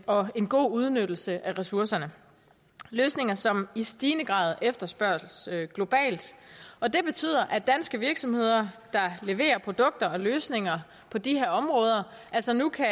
og en god udnyttelse af ressourcerne løsninger som i stigende grad efterspørges globalt og det betyder at danske virksomheder der leverer produkter og løsninger på de her områder altså nu kan